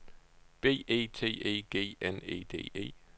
B E T E G N E D E